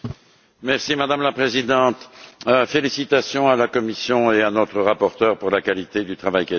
Madame la Présidente, félicitations à la Commission et à notre rapporteure pour la qualité du travail qui a été fait.